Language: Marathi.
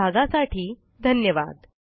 सहभागासाठी धन्यवाद